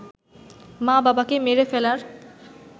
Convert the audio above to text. মা-বাবাকে মেরে ফেলার